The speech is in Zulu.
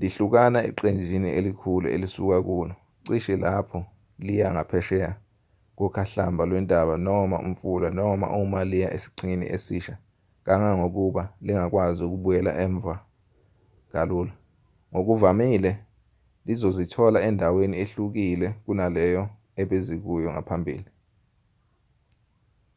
lihlukana eqenjini elikhulu elisuka kulo cishe lapho liya ngaphesheya kokhahlamba lwentaba noma umfula noma uma liya esiqhingini esisha kangangokuba lingakwazi ukubuyela emuva kalula ngokuvamile lizozithola endaweni ehlukile kunaleyo ebezikuyo ngaphambili